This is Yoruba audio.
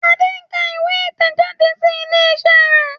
Ade nká ìwé itẹjade ilé iṣẹ rẹ.